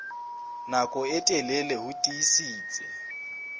nako e telele ho tiisitse